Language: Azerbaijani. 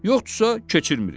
Yoxdursa, keçirmirik.